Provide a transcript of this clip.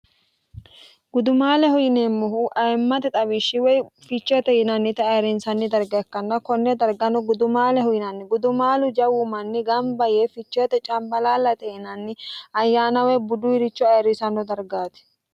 gudumaalehu yineemmohu ayimmate xawiishshi woy ficheete yinannite ayirinsanni darga ikkanna konne darganno gudumaalehu yinanni gudumaalu jawu manni gamba yee ficheete cambalalate yinanni ayyaana woy buduwiricho ayirrisanno dargaati